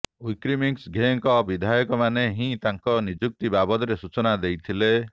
ୱିକ୍ରମ୍ସିଂଘେଙ୍କ ବିଧାୟକମାନେ ହିଁ ତାଙ୍କ ନିଯୁକ୍ତି ବାବଦରେ ସୂଚନା ଦେଇଥିଲେ